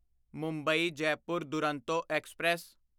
Mumbai Jaipur Duronto express